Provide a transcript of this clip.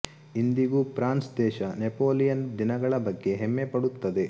ಇಂದಿಗೂ ಫ್ರಾನ್ಸ್ ದೇಶ ನೆಪೋಲಿಯನ್ ದಿನಗಳ ಬಗ್ಗೆ ಹೆಮ್ಮೆ ಪಡುತ್ತದೆ